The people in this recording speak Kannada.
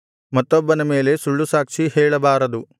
ಮತ್ತೊಬ್ಬನ ಮೇಲೆ ಸುಳ್ಳು ಸಾಕ್ಷಿ ಹೇಳಬಾರದು